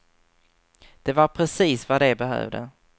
Det var precis vad de behövde.